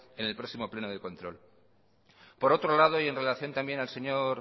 en el próximo pleno de control por otro lado y en relación también al señor